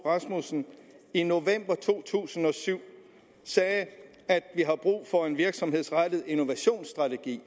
rasmussen i november to tusind og syv sagde at vi har brug for en virksomhedsrettet innovationsstrategi